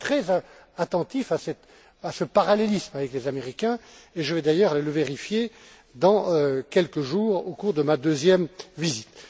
Je suis très attentif à ce parallélisme avec les Américains et je veux d'ailleurs aller le vérifier dans quelques jours, au cours de ma deuxième visite.